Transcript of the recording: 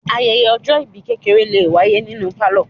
Ayẹyẹ ọjọ́-ìbí kékeré lè wáyé nínú pálọ̀.